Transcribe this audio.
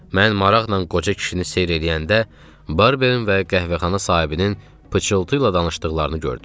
Mən maraqla qoca kişini seyr eləyəndə Barbevin və qəhvəxana sahibinin pıçıltı ilə danışdıqlarını gördüm.